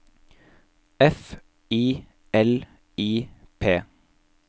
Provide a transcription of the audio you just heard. F I L I P